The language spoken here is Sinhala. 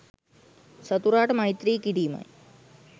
සතුරාට මෛත්‍රී කිරීමයි.